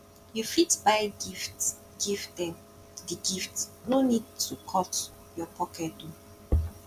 you fit buy gift give them di gift no need to need to cut your pocket um